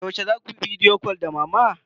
Yaushe za ku yi bidiyo cal din da mama?